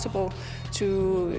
upp á sig og